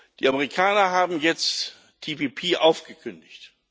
Die Amerikaner haben jetzt TTIP aufgekündigt.